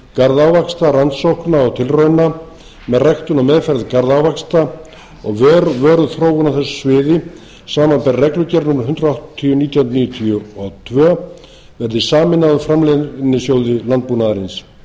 garðávaxta rannsókna og tilrauna með ræktun og meðferð garðávaxta og vöruþróun á þessu sviði samanber reglugerð númer hundrað áttatíu nítján hundruð níutíu og tvö verði sameinað framleiðnisjóði landbúnaðarins stjórn